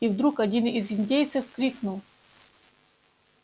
и вдруг один из индейцев крикнул